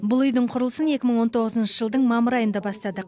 бұл үйдің құрылысын екі мың он тоғызыншы жылдың мамыр айында бастадық